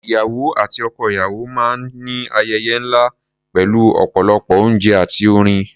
Ìyàwó àti ọkọ-ìyàwó máa ń ayẹyẹ ńlá pẹ̀lú ọ̀pọ̀lọpọ̀ oúnjẹ àti orin.